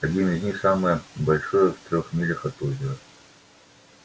один из них самое большее в трёх милях от озера